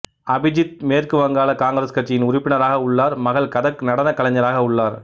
அபிஜித் மேற்கு வங்காள காங்கிரஸ் கட்சியின் உறுப்பினராக உள்ளார் மகள் கதக் நடன கலைஞராக உள்ளார்